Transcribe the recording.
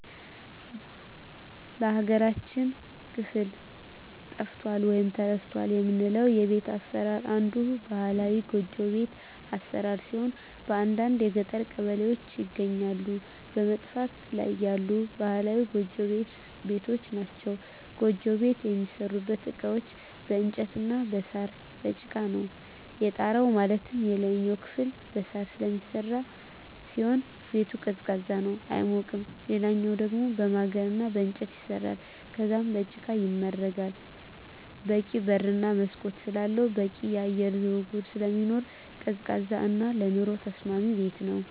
በሀገራችን ክፍል ጠፍቷል ወይም ተረስቷል የምለው የቤት አሰራር አንዱ ባህላዊ ጎጆ ቤት አሰራር ሲሆን በአንዳንድ የገጠር ቀበሌዎች ይገኛሉ በመጥፋት ላይ ያሉ ባህላዊ ጎጆ ቤቶች ናቸዉ። ጎጆ ቤት የሚሠሩበት እቃዎች በእንጨት እና በሳር፣ በጭቃ ነው። የጣራው ማለትም የላይኛው ክፍል በሳር ስለሚሰራ ሲሆን ቤቱ ቀዝቃዛ ነው አይሞቅም ሌላኛው ደሞ በማገር እና በእንጨት ይሰራል ከዛም በጭቃ ይመረጋል በቂ በር እና መስኮት ስላለው በቂ የአየር ዝውውር ስለሚኖር ቀዝቃዛ እና ለኑሮ ተስማሚ ቤት ነው።